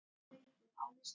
Þriðja bindi.